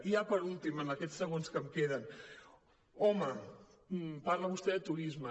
ja per últim en aquests segons que em queden home parla vostè de turisme